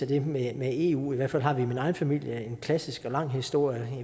det med eu i hvert fald har vi i min egen familie en klassisk og lang historie